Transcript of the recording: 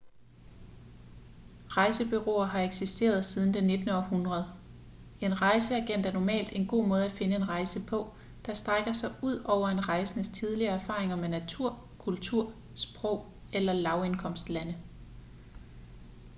rejsebureauer har eksisteret siden det 19. århundrede en rejseagent er normalt en god måde at finde en rejse på der strækker sig ud over en rejsendes tidligere erfaringer med natur kultur sprog eller lavindkomstlande